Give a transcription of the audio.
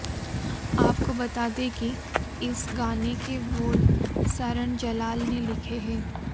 आपको बता दें कि इस गाने के बोल सरण जलाल ने लिखे हैं